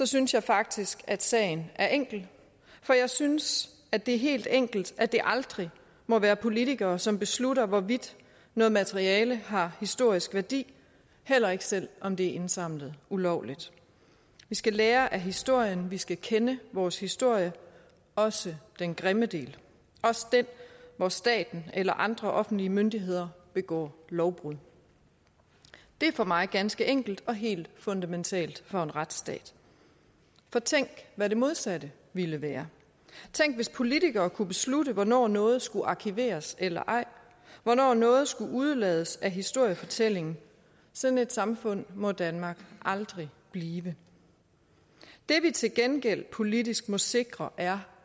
synes jeg faktisk at sagen er enkel for jeg synes at det er helt enkelt at det aldrig må være politikere som beslutter hvorvidt noget materiale har historisk værdi heller ikke selv om det er indsamlet ulovligt vi skal lære af historien vi skal kende vores historie også den grimme del den hvor staten eller andre offentlige myndigheder begår lovbrud det er for mig ganske enkelt og helt fundamentalt for en retsstat for tænk hvad det modsatte ville være tænk hvis politikere kunne beslutte hvornår noget skal arkiveres eller ej hvornår noget skal udelades af historiefortællingen sådan et samfund må danmark aldrig blive det vi til gengæld politisk må sikre er